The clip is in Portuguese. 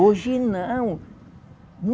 Hoje não.